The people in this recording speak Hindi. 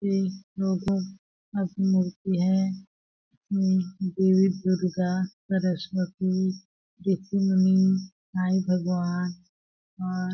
ये लोगों अभी मूर्ति है देवी दुर्गा सरस्वती ऋषि मुनि साई भगवान और --